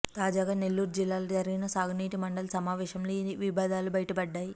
తాజాగా నెల్లూరు జిల్లాలో జరిగిన సాగునీటి మండలి సమావేశంలో ఈ విభేదాలు బైటపడ్డాయి